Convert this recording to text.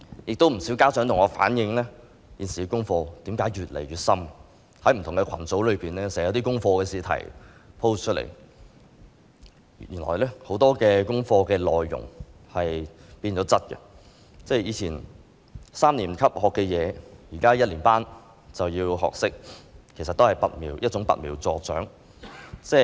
有不少家長向我反映，小朋友的功課越來越深，不同網上群組經常有功課試題貼出來，很多功課的內容已經變質，以前三年級學習的知識，現在一年級便要學懂，其實這也是揠苗助長。